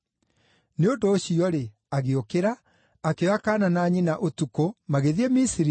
Nĩ ũndũ ũcio-rĩ, agĩũkĩra, akĩoya kaana na nyina ũtukũ, magĩthiĩ Misiri,